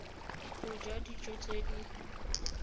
o ja dijo tse di